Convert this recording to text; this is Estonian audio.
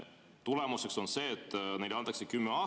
Tulemuseks on see, et neile antakse kümme aastat.